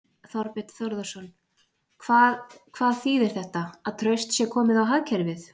Þorbjörn Þórðarson: Hvað, hvað þýðir þetta, að traust sé komið á hagkerfið?